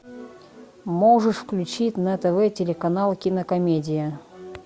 можешь включить на тв телеканал кинокомедия